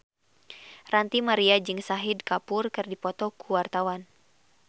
Ranty Maria jeung Shahid Kapoor keur dipoto ku wartawan